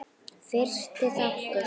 Fyrsti þáttur